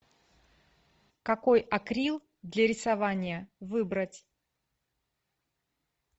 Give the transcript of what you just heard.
какой акрил для рисования выбрать